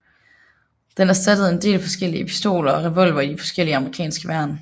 Den erstattede en del forskellige pistoler og revolvere i de forskellige amerikanske værn